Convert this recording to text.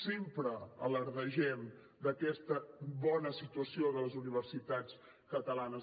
sempre ens vantem d’aquesta bona situació de les universitats catalanes